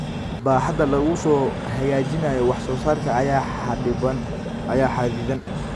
Baaxadda lagu hagaajinayo wax soo saarka ayaa xaddidan.